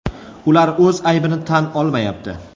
Ular o‘z aybini tan olmayapti.